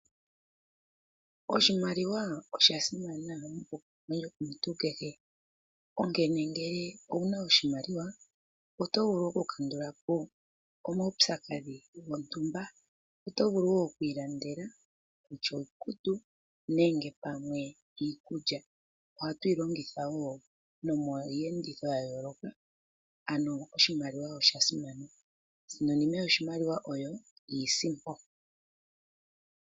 Oshimaliwa osha simana monkalamwenyo yomuntu kehe. Ngele owu na oshimaliwa oto vulu wo okukandula po omaupyakadhi gontumba. Oto vulu wo oku ilandela iikutu nenge pamwe iikulya. Ohatu yi longitha wo nomiiyenditho ya yooloka. Oshimaliwa osha simana. Osinonime yoshimaliwa oyo iisimpo.